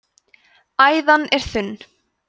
æðan er þunn